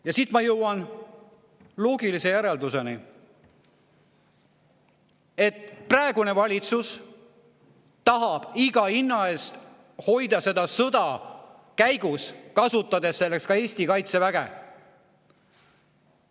Ja siit ma jõuan loogilise järelduseni: praegune valitsus tahab iga hinna eest hoida seda sõda käigus, kasutades selleks ka Eesti kaitseväge.